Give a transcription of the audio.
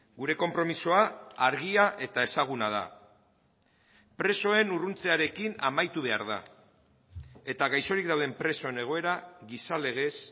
gure konpromisoa argia eta ezaguna da presoen urruntzearekin amaitu behar da eta gaixorik dauden presoen egoera giza legez